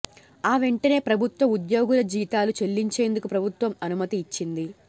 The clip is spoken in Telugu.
ఆ వెంటనే ప్రభుత్వ ఉద్యోగుల జీతాలు చెల్లించేందుకు ప్రభుత్వం అనుమతి ఇచ్చింది